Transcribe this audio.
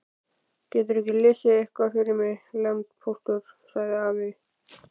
Geturðu ekki lesið eitthvað fyrir mig, landpóstur, sagði afi.